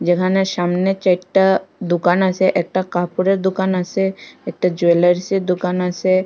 এখানে সামনে চাইরটা দোকান আসে একটা কাপড়ের দোকান আসে একটা জুয়েলারিসের দোকান আসে।